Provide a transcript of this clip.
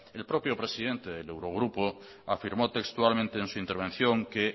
el propio presidente del eurogrupo afirmó textualmente en su intervención que